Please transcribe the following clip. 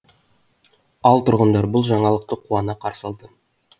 ал тұрғындар бұл жаңалықты қуана қарсы алды